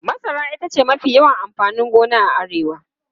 Masara ita ce mafi yawan amfanin gona a Arewa.